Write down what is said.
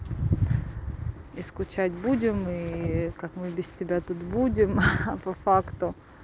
и скучать будем и как мы без тебя тут будем а по факту